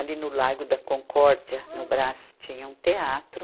Ali no Largo da Concórdia, no Brás, tinha um teatro.